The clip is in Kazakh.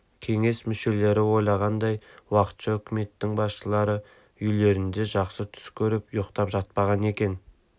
кеңес мүшелері ойлағандай уақытша үкіметтің басшылары үйлерінде жақсы түс көріп ұйықтап жатпаған екен